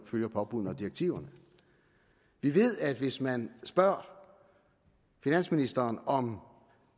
følger påbuddene og direktiverne vi ved at hvis man spørger finansministeren om